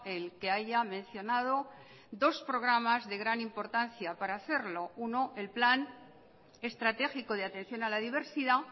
el que haya mencionado dos programas de gran importancia para hacerlo uno el plan estratégico de atención a la diversidad